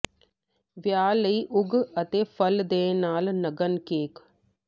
ਵਿਆਹ ਲਈ ਉਗ ਅਤੇ ਫਲ ਦੇ ਨਾਲ ਨਗਨ ਕੇਕ